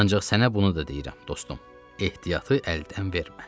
Ancaq sənə bunu da deyirəm, dostum, ehtiyatı əldən vermə.